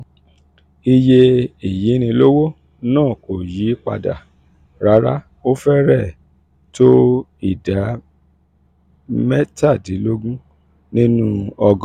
iye ìyínilówó náà kò yí padà rárá ó fẹ́rẹ̀ẹ́ tó ìdá mẹ́tàdínlógún nínú ọgọ́rùn-ún.